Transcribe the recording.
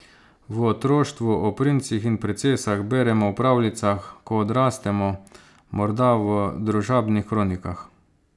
V otroštvu o princih in princesah beremo v pravljicah, ko odrastemo, morda v družabnih kronikah.